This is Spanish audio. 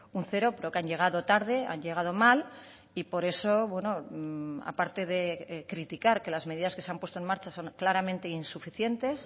un cero pero que han llegado tarde han llegado mal y por eso aparte de criticar que las medidas que se han puesto en marcha son claramente insuficientes